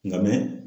Nka mɛ